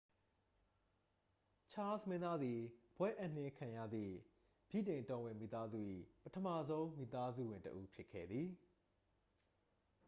ချားစ်လ် မင်းသားသည် ဘွဲ့အပ်နှင်းခံရသည့် ဗြိတိန်တော်ဝင်မိသားစု၏ ပထမဆုံး မိသားစုဝင်တစ်ဦး ဖြစ်ခဲ့သည်